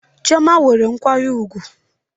Chioma nwere nkwanye ugwu